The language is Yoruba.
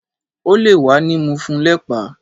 O le wa ni mu fun lepa